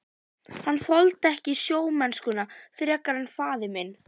Hann þoldi ekki sjómennskuna frekar en faðir minn.